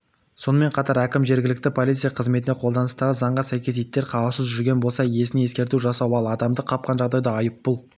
сонымен қатар әкім жергілікті полиция қызметіне қолданыстағы заңға сәйкес иттер қараусыз жүрген болса иесіне ескерту жасау ал адамды қапқан жағдайда айыппұл